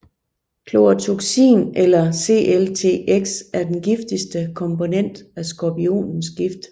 Chlorotoxin eller CLTX er den giftigste komponent af skorpionens gift